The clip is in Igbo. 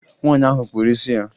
Nwaanyị ahụ kpụrụ isi ya